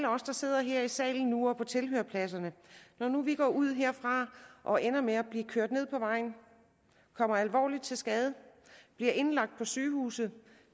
af os der sidder her i salen nu eller på tilhørerpladserne går ud herfra og ender med at blive kørt ned på vejen kommer alvorligt til skade bliver indlagt på sygehuset og